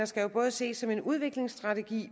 skal jo både ses som en udviklingsstrategi